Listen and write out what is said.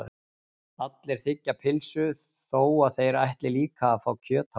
Allir þiggja pylsu þó að þeir ætli líka að fá kjöt á eftir.